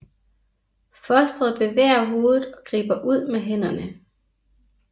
Fostret bevæger hovedet og griber ud med hænderne